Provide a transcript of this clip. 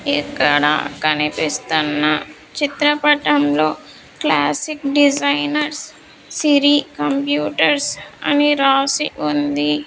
ఇక్కడ కనిపిస్తున్న చిత్రపటంలో క్లాసిక్ డిజైనర్స్ సిరి కంప్యూటర్స్ అని రాసి ఉంది.